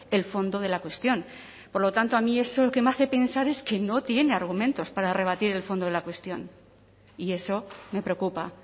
el fondo de la cuestión por lo tanto a mí eso lo que me hace pensar es que no tiene argumentos para rebatir el fondo de la cuestión y eso me preocupa